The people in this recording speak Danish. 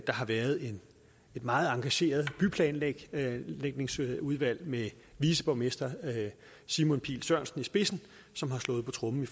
har været et meget engageret byplanlægningsudvalg med viceborgmester simon pihl sørensen i spidsen som har slået på tromme